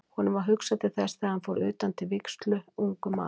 Honum varð hugsað til þess þegar hann fór utan til vígslu, ungur maður.